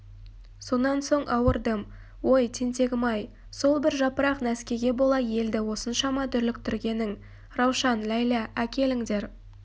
сонан соң ауырдым ой тентегім-ай сол бір жапырақ нәскиге бола елді осыншама дүрліктіргенің раушан ләйлә әкеліңдер